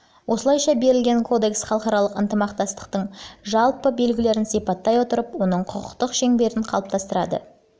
осылайша берілген кодекс халықаралық ынтымақтастықтың жалпы белгілерін сипаттай отырып оның құқықтық шеңберін қалыптастырады